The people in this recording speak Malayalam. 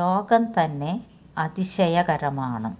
ലോകം തന്നെ അതിശയകരമാണ്